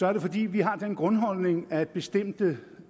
er det fordi vi har den grundholdning at bestemte